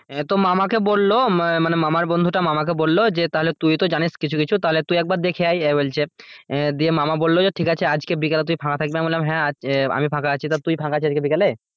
তো মামাকে বললো মানে মামার বন্ধুটা মামাকে বললো যে তাহলে তুই তো জানিস কিছু কিছু তাহলে তুই একবার দেখে আয় বলছে দিয়ে মামা বললো যে ঠিক আছে আজকে বিকালে তুই ফাঁকা থাকবি আমি বললাম হ্যাঁ আজ আমি ফাঁকা আছি, তুই ফাঁকা আছিস আজকে বিকালে?